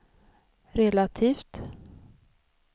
relativt